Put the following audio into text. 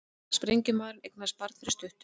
Sprengjumaðurinn eignaðist barn fyrir stuttu